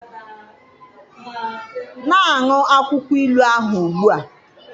Na-aṅụ akwụkwọ ilu ahụ ugbu a.